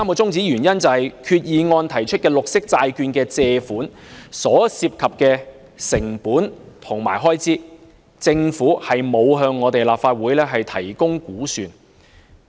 第三，擬議決議案提出的綠色債券借款所涉及的成本和開支，政府沒有向立法會提供估算。